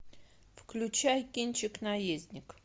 включай кинчик наездник